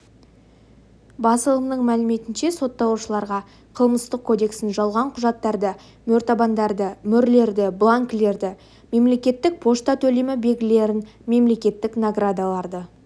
басылымның мәліметінш сотталушыларға қылмыстық кодекстің жалған құжаттарды мөртабандарды мөрлерді бланкілерді мемлекеттік пошта төлемі белгілерін мемлекеттік наградаларды